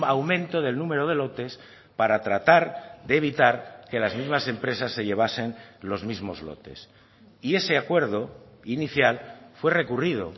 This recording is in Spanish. aumento del número de lotes para tratar de evitar que las mismas empresas se llevasen los mismos lotes y ese acuerdo inicial fue recurrido